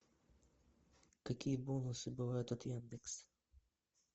какие бонусы бывают от яндекс